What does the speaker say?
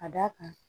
Ka d'a kan